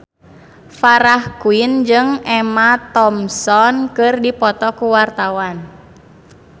Farah Quinn jeung Emma Thompson keur dipoto ku wartawan